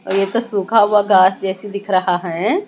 और ये तो सूखा हुआ घास जैसी दिख रहा हैं।